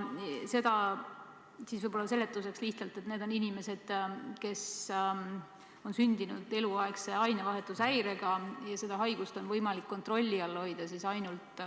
Ütlen lihtsalt seletuseks, et need on inimesed, kes on sündinud eluaegse ainevahetushäirega, ja seda haigust on võimalik kontrolli all hoida ainult